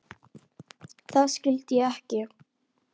Það skildi ég ekki.